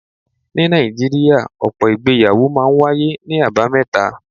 Ní Nàìjíríà, ọ̀pọ̀ ìgbéyàwó máa ń wáyé ní àbámẹ́ta.